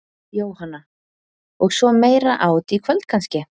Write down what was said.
Jóhanna: Og svo meira át í kvöld kannski?